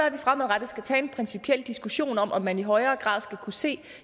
at vi fremadrettet skal tage en principiel diskussion om om man i højere grad skal kunne se